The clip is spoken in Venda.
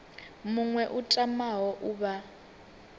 muṅwe a tamaho u vha